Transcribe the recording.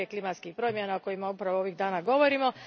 klimatskih promjena o kojima upravo ovih dana govorimo.